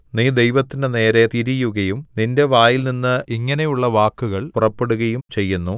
നീ ദൈവത്തിന്റെ നേരെ തിരിയുകയും നിന്റെ വായിൽനിന്ന് ഇങ്ങനെയുള്ള വാക്കുകൾ പുറപ്പെടുകയും ചെയ്യുന്നു